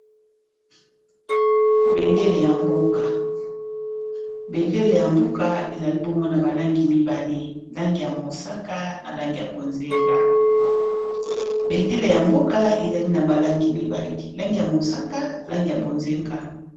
Bendele ya mboka, bendele ya mboka ezali bongo na balangi mibale langi ya mosaka na langi ya bonzenga.